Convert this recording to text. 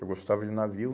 Eu gostava de navio.